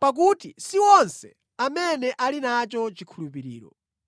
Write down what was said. pakuti si onse amene ali nacho chikhulupiriro.